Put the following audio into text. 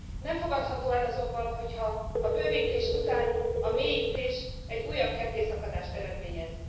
Nem fogadható el azonban, hogyha a bővítés után a mélyítés egy újabb kettészakadást eredményez.